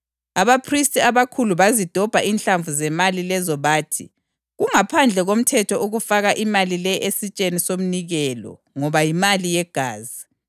Abaphristi abakhulu bazidobha inhlamvu zemali lezo bathi, “Kungaphandle komthetho ukufaka imali le esitsheni somnikelo ngoba yimali yegazi.”